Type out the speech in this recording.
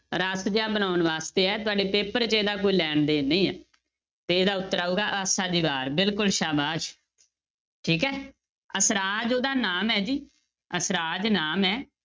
ਰਸ ਜਿਹਾ ਬਣਾਉਣ ਵਾਸਤੇ ਹੈ ਤੁਹਾਡੇ paper 'ਚ ਇਹਦਾ ਕੋਈ ਲੈਣ ਦੇਣ ਨਹੀਂ ਹੈ ਤੇ ਇਹਦਾ ਉੱਤਰ ਆਊਗਾ ਆਸਾ ਦੀ ਵਾਰ ਬਿਲਕੁਲ ਸਾਬਾਸ਼, ਠੀਕ ਹੈ ਅਸਰਾਜ ਉਹਦਾ ਨਾਮ ਹੈ ਜੀ ਅਸਰਾਜ ਨਾਮ ਹੈ